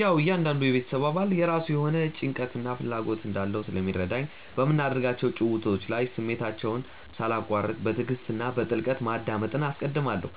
ያዉ እያንዳንዱ የቤተሰብ አባል የራሱ የሆነ ጭንቀትና ፍላጎት እንዳለው ስለሚረዳኝ፣ በምናደርጋቸው ጭውውቶች ላይ ስሜታቸውን ሳላቋርጥ በትዕግስት እና በጥልቀት ማዳመጥን አስቀድማለሁ።